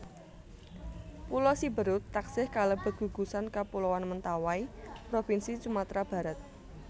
Pulo Siberut taksih kalebet gugusan kapuloan Mentawai propinsi Sumatra Barat